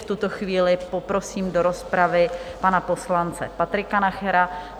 V tuto chvíli poprosím do rozpravy pana poslance Patrika Nachera.